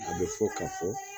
A bɛ fɔ ka fɔ